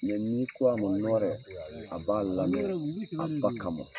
Mɛ n'i ko a ma nɔrɛ, a b'a laminɛ a ba kama.